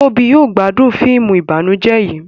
Tóbi yóò gbádùn fíìmù ìbànújẹ yí